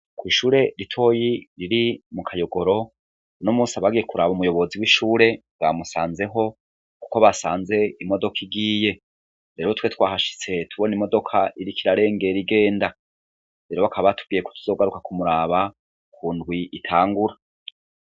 kw'ishure ritoyi riri mu kayogoro n'umusi abagiye kuraba umuyobozi w'ishure bwamusanzeho kuko basanze imodoka igiye rero twe twahashitse tubona imodoka iri korarenger igenda rero bakaba batubwiye ku tuzogaruka kumuraba ku ndwi itangura